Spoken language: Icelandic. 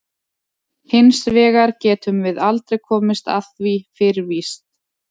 Hins vegar getum við aldrei komist að því fyrir víst.